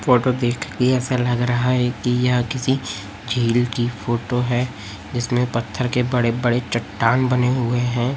Photo देखके ऐसा लग रहा है कि यह किसी झील की फोटो है जिसमें पत्थर के बड़े बड़े चट्टान बने हुए हैं।